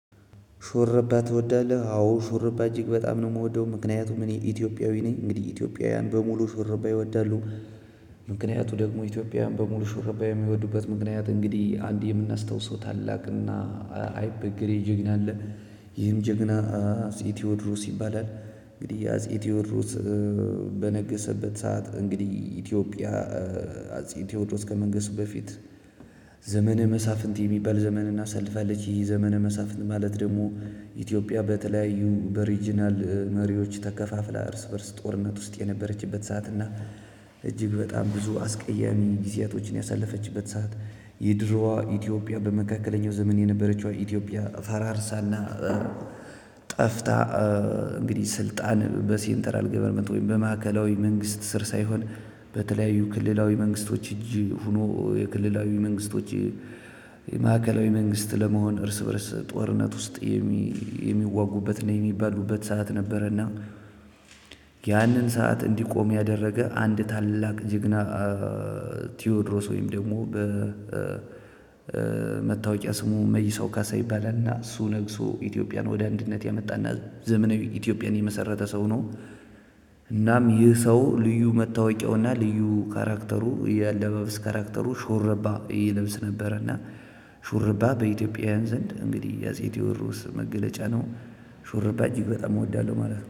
ሹርባ ትወዳለህ? አዎ ሹርባ እጅግ በጣም ነው የምወደው። ምክንያቱም እኔ ኢትዮጵያዊ ነኝ። እንግዲህ ኢትዮጵያውያን በሙሉ ሹርባ ይወዳሉ። ምክንያቱ ደግሞ ኢትዮጵያን በሙሉ ሹርባ የሚወዱበት ምክንያት እንግዲህ አንድ የምናስታውሰው ታላቅና አይበገሬ ጀግና አለ። ይህም ጀግና አጼ ቴዎድሮስ ይባላል። እንግዲህ አጼ ቴዎድሮስ በነገሰበት ሰዓት እንግዲህ ኢትዮጵያ አጼ ቴዎድሮስ ከመንገሱ በፊት- ዘመነ መሳፍንት የሚባል ዘመንን አሳልፋለች። ይህ ዘመነ መሳፍንት ማለት ደሞ ኢትዮጵያ በተለያዩ በሪጅናል መሪዎች ተከፋፍላ እርስ በእርስ ጦርነት ውስጥ የነበረችበት ሰዓት ና- እጅግ በጣም ብዙ አስቀያሚ ጊዜያቶችን ያሳለፈችበት ሰዓት የድሮዋ ኢትዮጵያ በመካከለኛው ዘመን የነበረችው ኢትዮጵያ ፈራርሳና ጠፍታ- እንግዲህ ስልጣን በሰንትራል ወይም በማዕከላዊ መንግስት ስር ሳይሆን- በተለያዩ ክልላዊ መንግስቶች እጅ ሆኖ የክልላዊ መንግስቶች የማዕከላዊ መንግስት ለመሆን እርስ በእርስ ጦርነት ውስጥ የሚዋጉበት እና የሚባሉበት ሰዓት ነበረ እና- ያንን ሰዓት እንዲቆም ያደረገ አንድ ታላቅ ጅግና- ቴዎድሮስ ወይም ደግሞ በመታወቂያ ስሙ መይሰው ካሳ ይባላልና እሱ ነግሶ ኢትዮጵያን ወደ አንድነት ያመጣና ዘመናዊ ኢትዮጵያን የመሰረተ ሰው ነው እናም ይህ ሰው ልዩ መታወቂያውና ልዩ ካራክተሩ የአለባበስ ካራክተሩ ሹርባ ይልብስ ነበረና- ሹርባ በኢትዮጵያውያን ዘንድ እንግዲህ የአጼ ቴዎድሮስ መገለጫ ነው። ሹርባ እጅግ በጣም እወዳለሁ ማለት ነው።